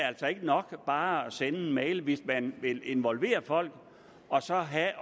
altså ikke nok bare at sende en mail hvis man vil involvere folk og